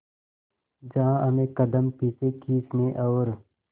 जहां हमें कदम पीछे खींचने और